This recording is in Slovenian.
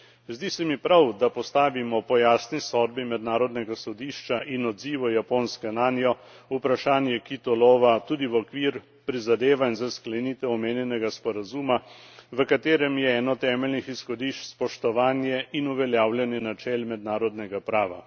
Zdi se mi prav, da postavimo po jasni sodbi Mednarodnega sodišča in odzivu Japonske nanjo vprašanje kitolova tudi v okvir prizadevanj za sklenitev omenjenega sporazuma, v katerem je eno od temeljnih izhodišč spoštovanje in uveljavljanje načel mednarodnega prava.